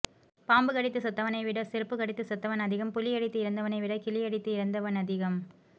பாம்பு கடித்துச் செத்தவனைவிட செருப்புக் கடித்துச் செத்தவன் அதிகம் புலியடித்து இறந்தவனைவிட கிலியடித்து இறந்தவனதிகம்